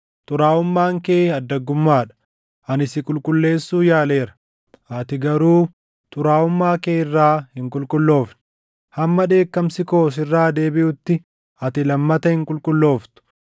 “ ‘Xuraaʼummaan kee addaggummaa dha. Ani si qulqulleessuu yaaleera; ati garuu xuraaʼummaa kee irraa hin qulqulloofne; hamma dheekkamsi koo sirraa deebiʼutti ati lammata hin qulqullooftu.